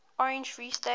orange free state